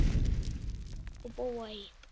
Og búa í